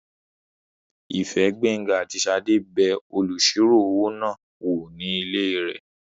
Ìfẹ́, Gbénga àti Ṣadé bẹ olùsirò-owó náà wò ní ilé rẹ̀